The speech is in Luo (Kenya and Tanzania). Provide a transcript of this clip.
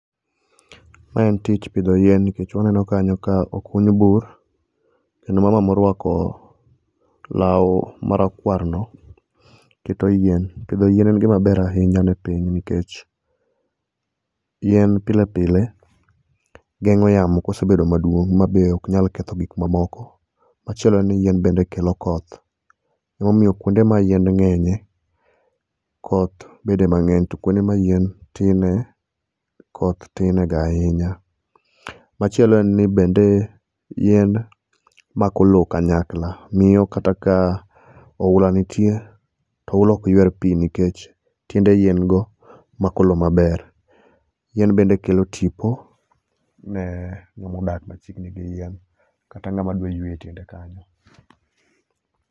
Mae en tich pidho yien nikech waneno kanyo ka okuny bur, kendo mama morwako law marakwarno pidho yien. Pidho yien en gima ber ahinya ne piny nikech yien pile pile geng'o yamo ka osebet maduong' be ok nyal ketho gik mamoko. Machielo ni yien bende kelo koth. Emomiyo kuonde ma yien ng'enyie koth bede mang'eny to kuonde ma yien tinie koth tinie ga ahinya. Machielo en ni bende yien mako lowo kanyakla. Miyo kata ka oula nitie to oula ok yuer pi nikech tiende yien go mako lowo maber. Yien bende kelo tipo ni ng'ama odak machiegni gi yien kata ng'ama dwa yweyo e tiende kanyo.